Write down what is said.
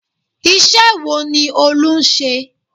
Iṣẹ́ wo ni Olú ń ṣe?